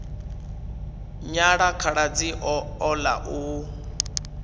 nyala khaladzi o ḓa u